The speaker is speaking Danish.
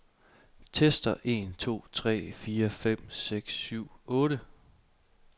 Tester en to tre fire fem seks syv otte.